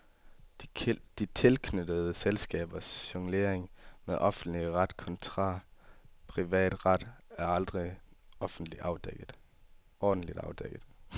De tilknyttede selskabers jonglering med offentlig ret kontra privat ret er aldrig ordentligt afdækket.